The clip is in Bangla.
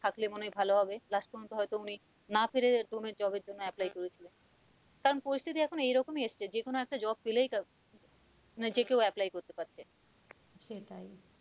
থাকলে মনে হয় ভালোহবে last পর্যন্ত হয় তো উনি না পায়ে ডোমের job এর জন্য apply করেছিলেন কারণ পরিস্থিতি এখন এই রকম এসেছে যেকোন একটা job পেলেই মানে যে কেউ apply করতে পারছে সেটাই